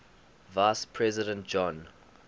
vice president john